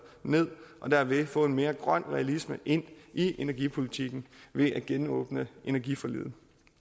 ned og dermed få en mere grøn realisme ind i energipolitikken ved at genåbne energiforliget